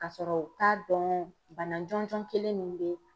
Ka sɔrɔ u t'a dɔn bana jɔnjɔn kelen mun be la.